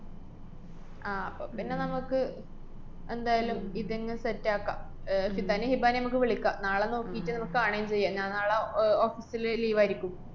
ആഹ് അപ്പപ്പിന്നെ നമക്ക് എന്തായാലും ഇതന്നെ set ആക്കാം. അഹ് സിതാനേം ഹിബാനേം മ്മക്ക് വിളിക്കാം. നാളെ നോക്കീറ്റ് നമക്ക് കാണ്വേം ചെയ്യാം. ഞാന്‍ നാളെ അഹ് office ല് leave ആയിര്ക്കും.